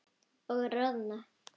Og roðna.